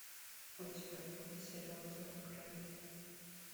у тебя будет сериал зов крови